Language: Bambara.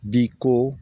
Bi ko